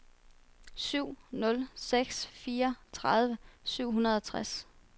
syv nul seks fire tredive syv hundrede og tres